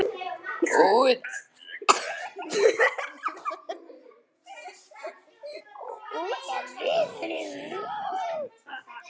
Út af litnum?